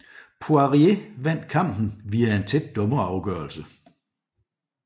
Poirier vandt kampen via en tæt dommerafgørelse